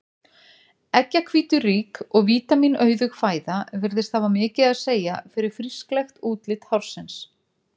Eggjahvíturík og vítamínauðug fæða virðist hafa mikið að segja fyrir frísklegt útlit hársins.